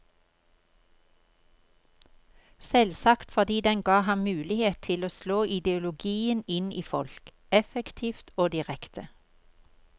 Selvsagt fordi den ga ham mulighet til å slå ideologien inn i folk, effektivt og direkte.